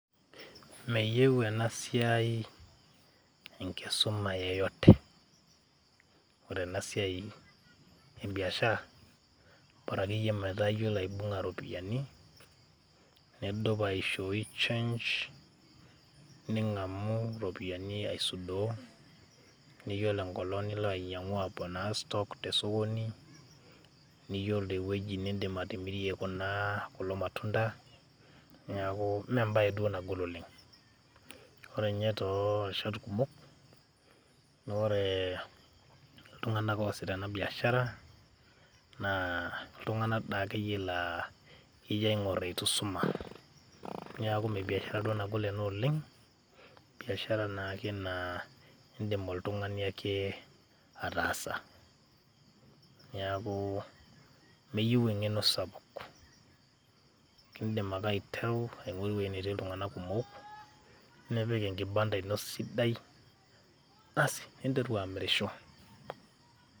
meyieu ena siai enkisuma yeyote .ore ena siai ebiashara bora akeyie metaa iyiolo aibunga iropiyiani ,nidupaishooi change, ningamu iropiyiani aisudoo , niyiolo enkolong nilo ainyiangu aponaa stock te sokoni ,niyiolo ewueji nindim atimirie kulo matunda, neaku mmee embae duo naji nagol oleng. ore ninye too rishat kumok naa ore iltunganak oosita ena biashara naa iltunganak daa akeyie , ijo aingor itu isuma . niaku mmee biashara duoena nagol oleng , biashara naake naa indim oltungani ake ataasa. niakumeyieu engeno sapuk ,indim ake aiteru ewueji netii iltunganak kumok ,nipik enkibanda ino sidai asi ninteru amirisho.